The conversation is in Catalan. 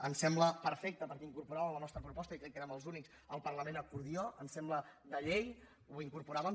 ens sembla perfecta perquè l’incorporàvem en la nostra proposta i crec que érem els únics el parlament acordió ens sembla de llei ho incorporàvem